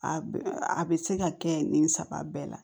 A bɛ a bɛ se ka kɛ nin saba bɛɛ la